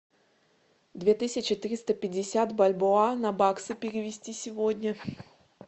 две тысячи триста пятьдесят бальбоа на баксы перевести сегодня